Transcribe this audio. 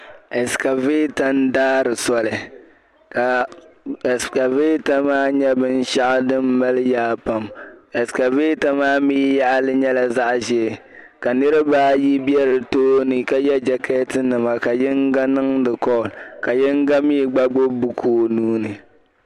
escarvator faari soli ka escarvator maa nyɛla binshiɛɣu din mali yaa pam escarvator maa mi yaɣi li nyɛla zaɣa ʒee ka niriba ayi be di tooni ka ye jakeetinima ka yingo niŋdi call ka yina mi gba gbubi buku o nuuni